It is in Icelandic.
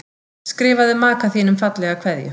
Skrifaðu maka þínum fallega kveðju.